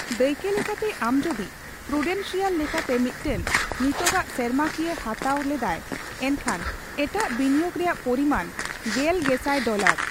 ᱫᱟᱹᱭᱠᱟᱹ ᱞᱮᱠᱟᱛᱮ, ᱟᱢ ᱡᱚᱫᱤ ᱯᱨᱩᱰᱮᱱᱥᱤᱭᱟᱞ ᱞᱮᱠᱟᱛᱮ ᱢᱤᱫᱴᱟᱝ ᱱᱤᱛᱚᱜᱟᱜ ᱥᱮᱨᱢᱟᱠᱤᱭᱟᱹ ᱦᱟᱛᱟᱣ ᱞᱮᱫᱟᱭ, ᱮᱱᱠᱷᱟᱱ ᱮᱴᱟᱜ ᱵᱤᱱᱤᱭᱳᱠ ᱨᱮᱭᱟᱜ ᱯᱚᱨᱤᱢᱟᱱ ᱜᱮᱞ ᱜᱮᱥᱟᱭ ᱰᱚᱞᱟᱨ ᱾